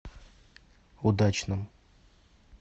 удачном